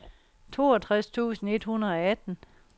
toogtres tusind et hundrede og atten